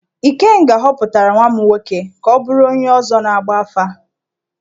Ikenga họpụtara nwa m nwoke ka ọ bụrụ onye ọzọ na-agba afà.